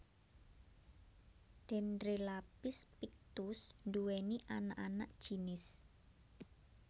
Dendrelaphis pictus nduwèni anak anak jinis